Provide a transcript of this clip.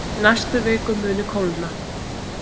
Í næstu viku muni kólna